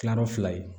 Kilayɔrɔ fila ye